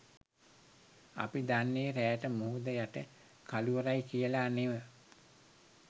අපි දන්නෙ රෑට මුහුද යට කළුවරයි කියලා නෙව.